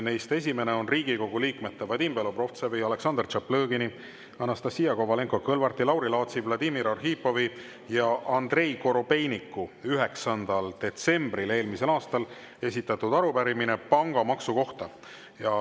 Neist esimene on Riigikogu liikmete Vadim Belobrovtsevi, Aleksandr Tšaplõgini, Anastassia Kovalenko-Kõlvarti, Lauri Laatsi, Vladimir Arhipovi ja Andrei Korobeiniku 9. detsembril eelmisel aastal esitatud arupärimine pangamaksu kohta.